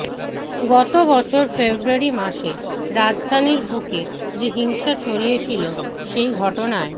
গত বছর ফেব্রুয়ারি মাসে রাজধানীর বুকে যে হিংসা ছড়িয়েছিল সেই ঘটনায়